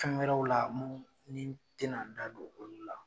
Fɛn wɛrɛw la ni tɛna n da don olu la